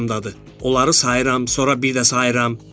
Onları sayıram, sonra bir də sayıram.